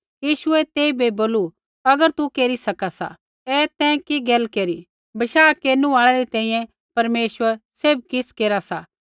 यीशुऐ तेइबै बोलू अगर तू केरी सका सा ऐ तैं कि गैल केरी बशाह केरनु आल़ै री तैंईंयैं परमेश्वर सैभ किछ़ केरी सा